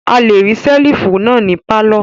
A le rí ṣẹ́lífù náà ní pálọ̀.